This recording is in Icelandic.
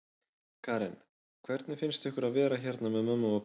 Karen: Hvernig finnst ykkur að vera hérna með mömmu og pabba?